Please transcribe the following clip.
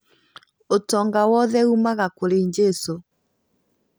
Ũtonga wothe ũmaga kũrĩ jesũ